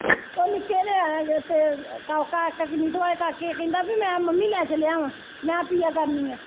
ਉਹ ਨਿੱਕੇ ਨੇ ਤੇ ਕਹਿੰਦਾ ਵੀ ਮੈਂ ਮੰਮੀ ਲੈ ਚੱਲਿਆ ਵਾਂ ਮੈਂ ਪੀਆ ਕਰਨੀ ਆਂ।